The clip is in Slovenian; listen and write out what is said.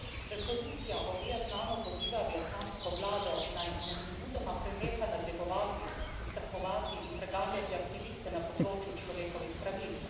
Resolucija o Vietnamu poziva vietnamsko vlado, naj nemudoma preneha nadlegovati, ustrahovati in preganjati aktiviste na področju človekovih pravic.